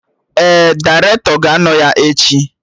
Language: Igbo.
Ee, dairetọ ga-anọ ya echi